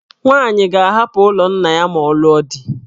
Nwaanyị ga-ahapụ ụlọ nna ya ma ọ lụọ di.